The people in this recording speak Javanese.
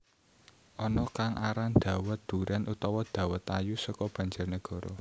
Ana kang aran dhawet durén utawa dhawet ayu seko Banjarnegara